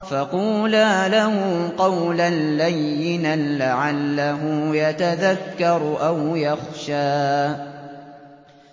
فَقُولَا لَهُ قَوْلًا لَّيِّنًا لَّعَلَّهُ يَتَذَكَّرُ أَوْ يَخْشَىٰ